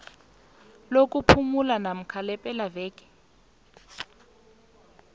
lokuphumula namkha lepelaveke